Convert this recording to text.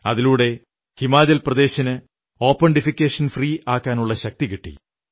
അതിലൂടെ ഹിമാചൽ പ്രദേശിന് open defecation free ആക്കാനുള്ള ശക്തി കിട്ടി